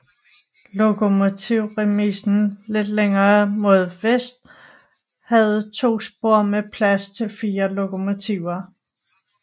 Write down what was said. Lokomotivremisen lidt længere mod vest havde to spor med plads til 4 lokomotiver